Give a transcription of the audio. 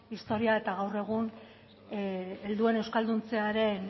historia eta gaur egun helduen euskalduntzearen